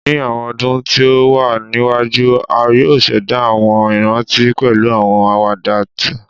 Ni awọn ọdun ti o wa niwaju, a yoo ṣẹda awọn iranti pẹlu awọn awada twa